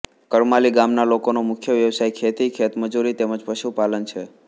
કરમાલી ગામના લોકોનો મુખ્ય વ્યવસાય ખેતી ખેતમજૂરી તેમ જ પશુપાલન છે